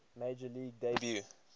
major league debut